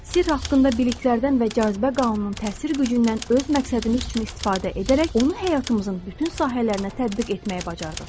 Sirr haqqında biliklərdən və cazibə qanununun təsir gücündən öz məqsədimiz üçün istifadə edərək onu həyatımızın bütün sahələrinə tətbiq etməyi bacardıq.